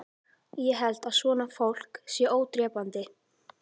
Ég held að svona fólk sé ódrepandi